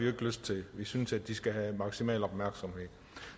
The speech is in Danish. ikke lyst til vi synes de skal have maksimal opmærksomhed